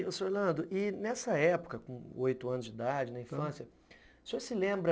Orlando, nessa época, com oito anos de idade, na infância, o senhor se lembra